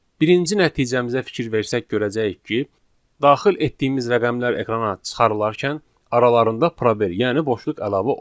Birinci nəticəmizə fikir versək görəcəyik ki, daxil etdiyimiz rəqəmlər ekrana çıxarılarkən aralarında probel, yəni boşluq əlavə olunur.